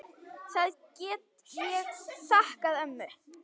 Það get ég þakkað ömmu.